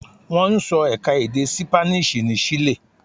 Wọ́n ń sọ ẹ̀ka-èdè Sípáníṣì ní Ṣile.